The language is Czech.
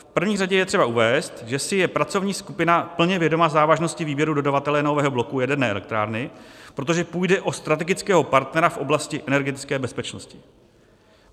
V první řadě je třeba uvést, že si je pracovní skupina plně vědoma závažnosti výběru dodavatele nového bloku jaderné elektrárny, protože půjde o strategického partnera v oblasti energetické bezpečnosti.